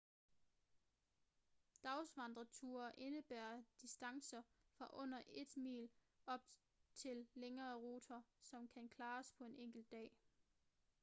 dagsvandreture indebærer distancer fra under et mil op til længere ruter som kan klares på en enkelt dag